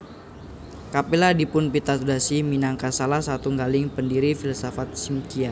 Kapila dipunpitadosi minangka salah satunggaling pendiri filsafat Smkhya